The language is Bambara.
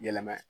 Yɛlɛma ye